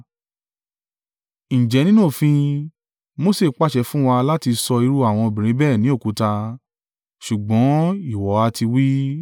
Ǹjẹ́ nínú òfin, Mose pàṣẹ fún wa láti sọ irú àwọn obìnrin bẹ́ẹ̀ ní òkúta, ṣùgbọ́n ìwọ ha ti wí?”